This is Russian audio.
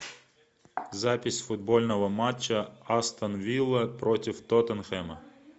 запись футбольного матча астон вилла против тоттенхэма